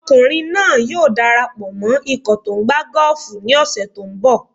Ọkùnrin náà yóò dara pọ̀ mọ ikọ̀ tó tó ń gbá gọ́ọ̀fù ní ọ̀sẹ̀ tó ń bọ̀.